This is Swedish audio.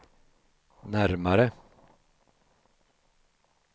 närmare